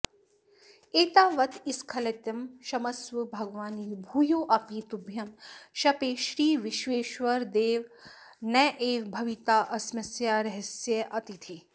एतावत्स्खलितं क्षमस्व भगवन् भूयोऽपि तुभ्यं शपे श्रीविश्वेश्वर देव नैव भवितास्म्यस्या रहस्यातिथिः